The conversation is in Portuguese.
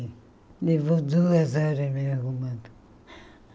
Ele levou duas horas me arrumando.